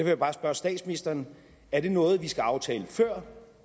jeg bare spørge statsministeren er det noget vi skal aftale før